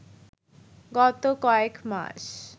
গত কয়েক মাস